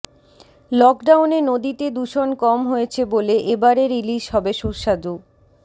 লকডাউনে নদীতে দূষণ কম হয়েছে বলে এবারের ইলিশ হবে সুস্বাদু